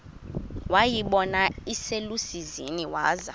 wayibona iselusizini waza